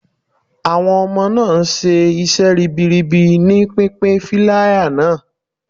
Awon ọmọ náà ń ṣe iṣẹ́ ribiribi ní pínpín flier náà.